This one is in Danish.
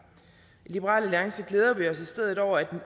i liberal alliance glæder vi os i stedet over at